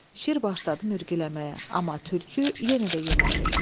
Şir başladı mürgüləməyə, amma tülkü yenə də yemədi.